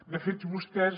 de fet vostès